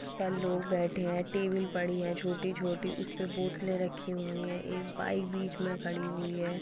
पर लोग बैठे हैं टेबल पड़ी हैं छोटी-छोटी उसपे बोतले रखी हुई हैं एक बाइक बीच में खड़ी हुई है।